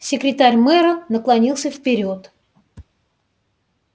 секретарь мэра наклонился вперёд